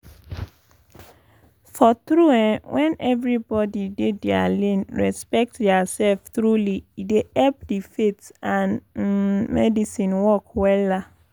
for tru eh wen everybodi dey dia lane respect dia sef truly e dey epp di faith and um medicine work wella